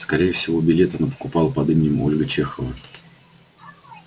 скорее всего билет она покупала под именем ольга чехова